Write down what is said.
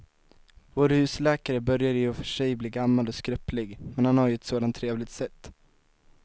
Vår husläkare börjar i och för sig bli gammal och skröplig, men han har ju ett sådant trevligt sätt!